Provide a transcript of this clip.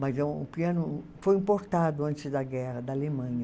Mas é um piano foi importado antes da guerra da Alemanha.